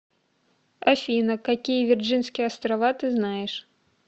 афина какие вирджинские острова ты знаешь